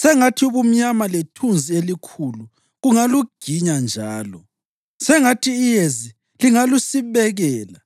Sengathi ubumnyama lethunzi elikhulu kungaluginya njalo; sengathi iyezi lingalusibekela;